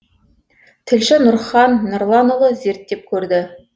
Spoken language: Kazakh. тілші нұрхан нұрланұлы зерттеп көрді